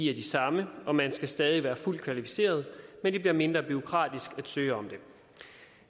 er de samme og man skal stadig være fuldt kvalificeret men det bliver mindre bureaukratisk at søge om det